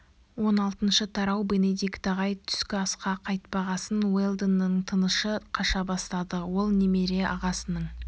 он алтыншы тарау бенедикт ағай түскі асқа қайтпағасын уэлдонның тынышы қаша бастады ол немере ағасының